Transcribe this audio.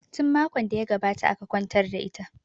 Tin makon da ya gabata aka kwantar da ita